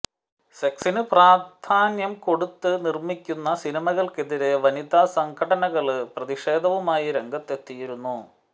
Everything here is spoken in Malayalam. സെക്സിന് പ്രധാന്യം കൊടുത്ത് നിര്മ്മിക്കുന്ന സിനിമയ്ക്കെതിരെ വനിതാ സംഘടനകള് പ്രതിഷേധവുമായി രംഗത്തെത്തിയിരുന്നു